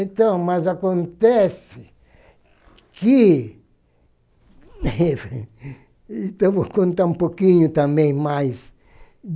Então, mas acontece que... Então, eu vou contar um pouquinho também mais.